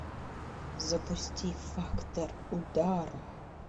запусти фактор удара